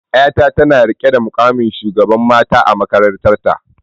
Yata tana rike da muƙamin shugaban mata a makarantarta.